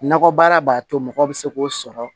Nakɔbaara b'a to mɔgɔ bɛ se k'o sɔrɔ